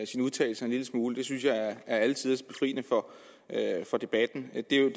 sine udtalelser en lille smule det synes jeg er alletiders og befriende for debatten det er jo